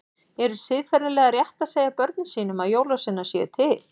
Er siðferðilega rétt að segja börnum sínum að jólasveinar séu til?